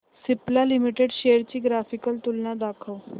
Cipla limited shares ची graphical तुलना दाखव